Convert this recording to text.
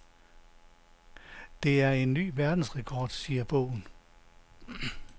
Det er en ny verdensrekord, siger bogen.